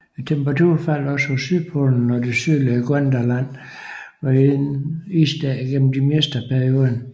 Temperaturen faldt også på sydpolen og det sydligste Gondwanaland var isdækket gennem det meste af perioden